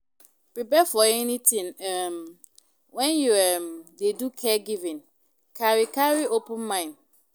Prepare for anything um when you um dey do caregiving carry carry open mind